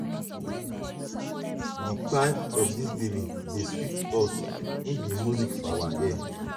di cry of di baby dey sweet us im be music to our ears.